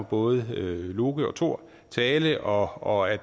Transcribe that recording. både loke og thor tale og og at